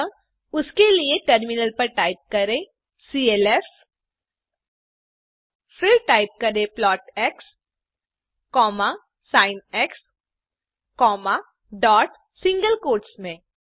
अतः उसके लिए टर्मिनल पर टाइप करें सीएलएफ फिर टाइप करें plot x sin dot single quotes में